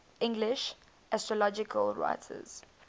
english astrological writers